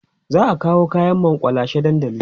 za'a kawo kaƴan makullashe dandali